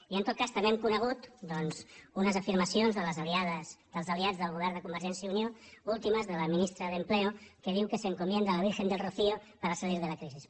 i en tot cas també hem conegut doncs unes afirmacions dels aliats del govern de convergència i unió últimes de la ministra d’empleo que diu que se encomienda a la virgen del rocío para salir de la crisis